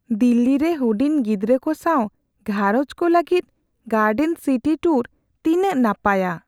ᱫᱤᱞᱞᱤ ᱨᱮ ᱦᱩᱰᱤᱧ ᱜᱤᱫᱽᱨᱟᱹ ᱠᱚ ᱥᱟᱶ ᱜᱷᱟᱨᱚᱸᱡᱽ ᱠᱚ ᱞᱟᱹᱜᱤᱫ ᱜᱟᱭᱰᱮᱱ ᱥᱤᱴᱤ ᱴᱩᱨᱥ ᱛᱤᱱᱟᱹᱜ ᱱᱟᱯᱟᱭᱟ ᱾